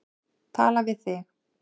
Tala við þig.